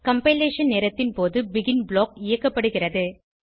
compilation நேரத்தின் போது begin block இயக்கப்படுகிறது